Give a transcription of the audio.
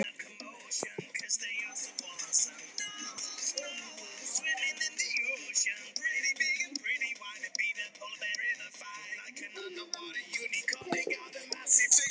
Jólasveinn: Ha?